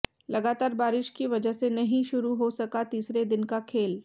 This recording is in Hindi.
लगातार बारिश की वजह से नहीं शुरू हो सका तीसरे दिन का खेल